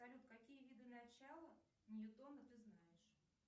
салют какие виды начала ньютона ты знаешь